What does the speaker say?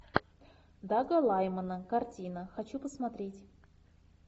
дага лаймана картина хочу посмотреть